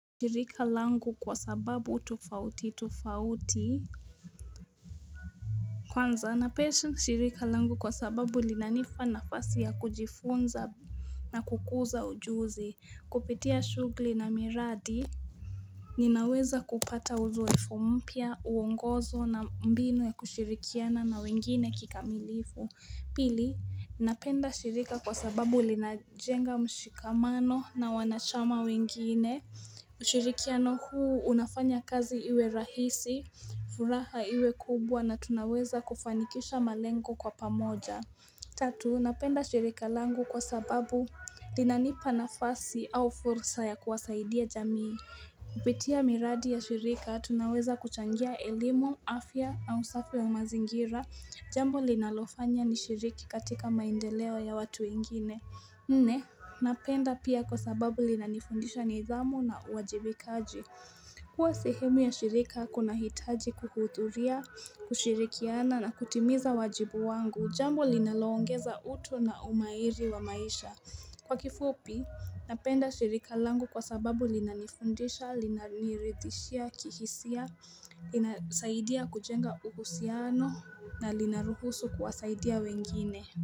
Shirika langu kwa sababu tofauti tofauti Kwanza npesha shirika langu kwa sababu linanipa nafasi ya kujifunza na kukuza ujuzi kupitia shugli na miradi Ninaweza kupata uzoefu mpya uongozo na mbinu ya kushirikiana na wengine kikamilifu Pili ninapenda shirika kwa sababu linajenga mshikamano na wanachama wengine ushirikiano huu unafanya kazi iwe rahisi, furaha iwe kubwa na tunaweza kufanikisha malengo kwa pamoja Tatu, napenda shirika langu kwa sababu linanipa nafasi au fursa ya kuwasaidia jamii Kupitia miradi ya shirika, tunaweza kuchangia elimu, afya au usafi wa mazingira Jambo linalofanya nishiriki katika maendeleo ya watu wengine Nne, napenda pia kwa sababu linanifundisha nidhamu na uwajibikaji. Kuwa sehemu ya shirika, kunahitaji kuhudhuria, kushirikiana na kutimiza wajibu wangu. Jambo linaloongeza uto na umairi wa maisha. Kwa kifupi, napenda shirika langu kwa sababu linanifundisha, linaniridhishia, kihisia, linasaidia kujenga uhusiano na linaruhusu kuwasaidia wengine.